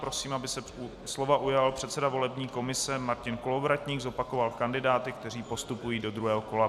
Prosím, aby se slova ujal předseda volební komise Martin Kolovratník, zopakoval kandidáty, kteří postupují do druhého kola.